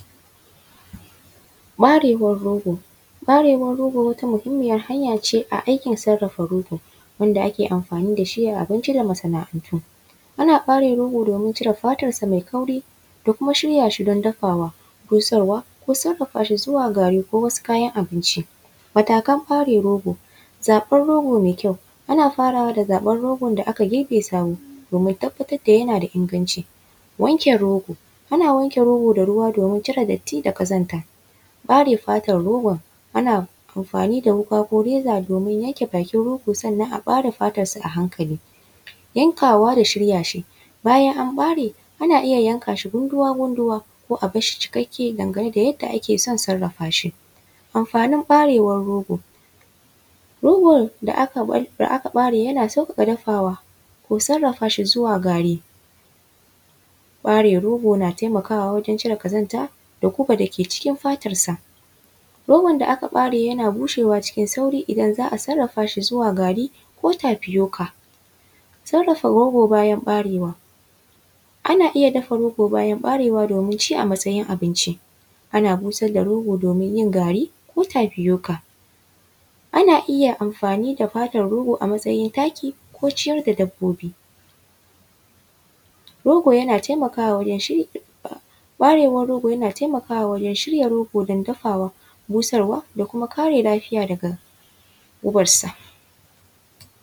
Ɓarewar rogo. Ɓarewar rogo wata muhimmiyar hanya ce a aikin sarrafa rogo, wanda ake amfani da shi a abinci da masana’antu. Ana ɓare rogo domin cire fatarsa mai kauri da kuma shirya shi don dafawa, busarwa ko sarrafa shi zuwa gari ko wasu kayan abinci. Matakan ɓare rogo: zaɓar rogo mai kyau, ana farawa da zaɓar rogon da aka girbe sabo domin tabbatar da yana da inganci. Wanke rogo, ana wanke rogo da ruwa domin cire datti da ƙazanta. Ɓare fatar rogon: ana amfani da wuƙa ko reza domin yanke bakin rogo sannan sai ɓare fatarsu a hankali. Yankawa da shirya shi: bayan an ɓare, ana iya yanka shi gunduwa-gunduwa ko a bar shi cikakke dangane da yadda ake son sarrafa shi. Amfanin ɓarewar rogo: rogo da aka ɓare yana sauƙaƙa dafawa ko sarrafa shi zuwa gari. Ɓare rogo na taimakawa wajen cire ƙazanta da gubar da ke cikin fatarsa. Rogon da aka ɓare yana bushewa cikin sauri idan za a sarrafa shi zuwa gari ko tapioca. Sarrafa rogo bayan ɓarewa: ana iya dafa rogo bayan ɓarewa domin ci a matsayin abinci. Ana busar da rogo domin yin gari ko tapioca. Ana iya amfani da fatar rogo a matsayin taki ko ciyar da dabbobi. Rogo yana taimakawa wajen shi… Ɓarewar rogo yana taimakawa wajen shirya rogo don dafawa, busarwa da kuma kare lafiya daga gubarsa.